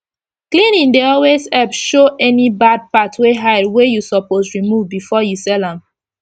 cleaning dey always epp show any bard part wey hide wey u suppose remove before u sell am